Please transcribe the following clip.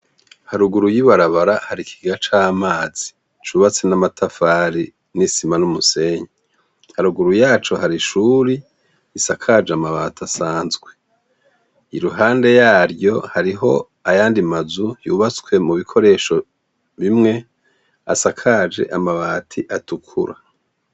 Haruguru y'ibarabara hari ikigega c'amazi cubatse n'amatafari n'isima n'umusenyi haruguru yaco hari ishuri risakaje amabati asanzwe iruhande yaryo hariho ayandi mazu yubatswe mu bikoresho bimwe asakaje amabati atukura atukura